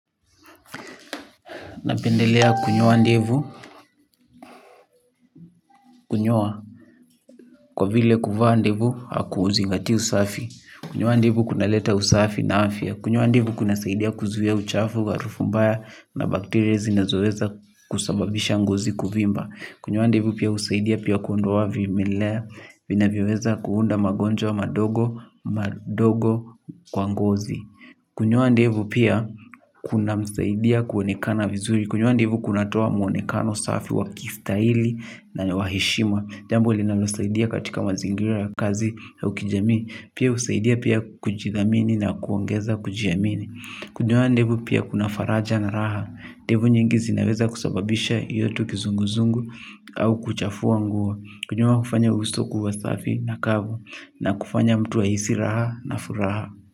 Napendelea kunyoa ndevu, kunyoa kwa vile kuvaa ndevu haku zingatii usafi. Kunyoa ndevu kunaleta usafi na afya. Kunyoa ndevu kuna saidia kuzuia uchafu, wa arufu mbaya na bakteria zinazoweza kusababisha ngozi kuvimba. Kunyoa ndevu pia husaidia pia kuondoa vimelea vinavyoweza kuunda magonjwa madogo kwa ngozi. Kunyoa ndivu pia kuna msaidia kuonekana vizuri. Kunyoa ndevu kuna toa mwonekano safi wa kistaili na wa heshima. Jambo linalosaidia katika mazingira ya kazi au kijamii. Pia husaidia pia kujidhamini na kuongeza kujiamini. Kunyoa ndevu pia kuna faraja na raha. Ndevu nyingi zinaweza kusababisha iyo tu kizunguzungu au kuchafua nguo. Kunyoa hufanya uso kuwa safi na kavu na kufanya mtu ahisi raha na furaha.